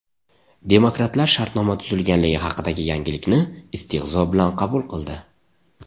Demokratlar shartnoma tuzilganligi haqidagi yangilikni istehzo bilan qabul qildi.